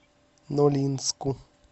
нолинску